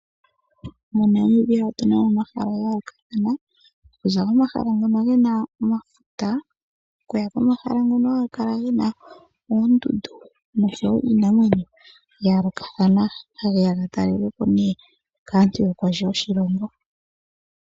MoNamibia otu na mo omahala gaayolokathana. Okuza komahala ngono ge na omafuta, okuya komahala ngono haga kala gena oondundu, noshowo iinamwenyo yayoolokatha. Ohageya ga talelwepo kaantu yokondje yoshilongo.